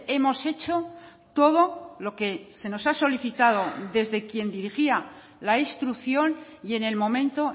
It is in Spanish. hemos hecho todo lo que se nos ha solicitado desde quien dirigía la instrucción y en el momento